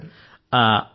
ధన్యవాదాలు సర్